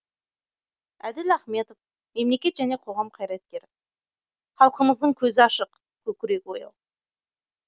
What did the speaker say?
әділ ахметов мемлекет және қоғам қайраткері халқымыздың көзі ашық көкірегі ояу